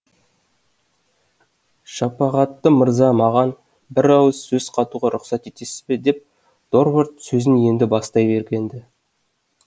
шапағатты мырза маған бір ауыз сөз қатуға рұқсат етесіз бе деп дорвард сөзін енді бастай берген ді